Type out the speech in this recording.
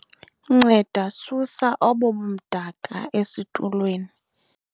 nceda susa obo bumdaka esitulweni